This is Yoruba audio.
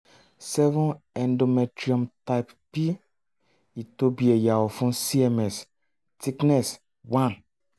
seven endometrium type p ìtóbi ẹ̀yà ọ̀fun cms thickness one